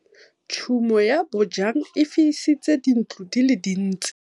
Tshumô ya bojang e fisitse dintlo di le dintsi.